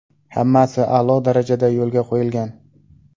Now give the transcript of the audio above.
Hammasi a’lo darajada yo‘lga qo‘yilgan.